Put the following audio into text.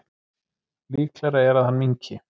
Líklegra er að hann minnki.